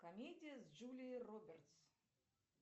комедия с джулией робертс